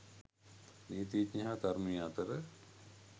නීතිඥයා හා තරුණිය අතර